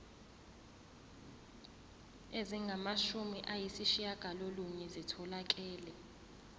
ezingamashumi ayishiyagalolunye zitholakele